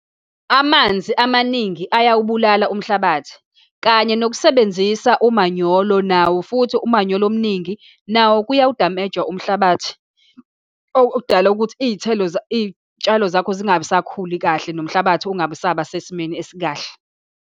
Amanzi amaningi ayawubulala umhlabathi, kanye nokusebenzisa umanyolo nawo, futhi umanyolo omningi nawo, kuyawudameja umhlabathi okudala ukuthi iy'thelo, iy'tshalo zakho zingabisakhuli kahle nomhlabathi ungabe usaba sesimeni esikahle.